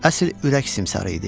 Əsl ürək simsarı idi.